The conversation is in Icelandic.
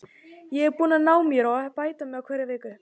Ég er búinn að ná mér og er að bæta mig með hverri vikunni.